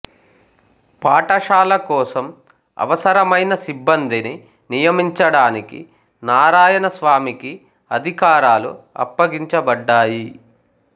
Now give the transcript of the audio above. పాఠశాల కోసం అవసరమైన సిబ్బందిని నియమించడానికి నారాయణ స్వామికి అధికారాలు అప్పగించబడ్డాయి